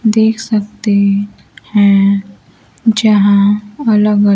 देख सकते हैं यहां अलग अ--